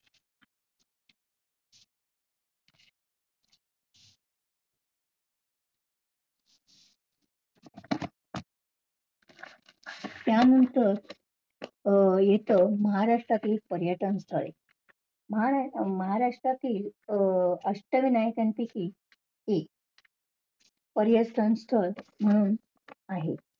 त्यानंतर अं येत महाराष्ट्रातील पर्यटन स्थळ महा~ महाराष्ट्रातील अं अष्टविनायकांपेकी एक पर्यटन स्थळ म्हणून आहे.